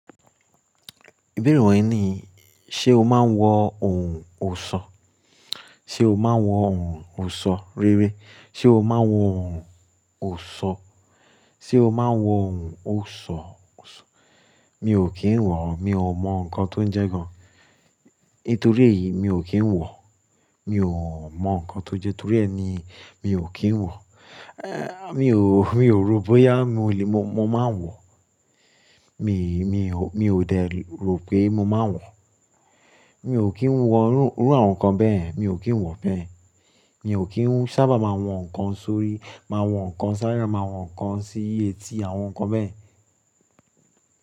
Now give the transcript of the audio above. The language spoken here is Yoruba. Ìbéèrè rẹ̀ wí ní, ṣé o máa ń wọ ohun òṣò? Ṣé o máa ń wọ ohun òṣò? Rí rẹ́, ṣé o máa ń wọ ohun òṣò? Ṣé o máa ń wọ ohun òṣò, òṣò? Mi ò kí ń wọ, mi ò mọ nnkan tó ń jẹ́ gan. Nítorí èyí mi ò kí ń wọ. Mi ò mọ nnkan tó jẹ́, torí ẹ ni mi ò kí ń wọ. Mi ò, mi ò rò bóyá mo lè, mo, mo máa ń wọ. Mi, mi ò, mi ò dẹ̀ rò pé mo máa ń wọ. Mi ò kí ń wọ rú, rú àwọn nǹkan bẹ́ẹ̀. Mi ò kí ń wọ bẹ́ẹ̀. Mi ò kí ń sábà máa wọ nnkan sórí, máa wọ nnkan sáyá, máa wọ nnkan sí etí àwọn nǹkan bẹ́ẹ̀ yen.